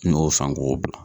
N'o k'o bila.